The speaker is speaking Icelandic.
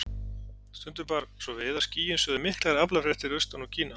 Stundum bar svo við að skýin sögðu miklar aflafréttir austan úr Kína.